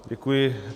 Děkuji.